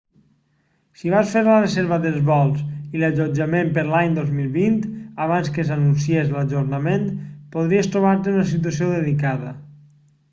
si vas fer la reserva dels vols i l'allotjament per a l'any 2020 abans que s'anunciés l'ajornament podries trobar-te en una situació delicada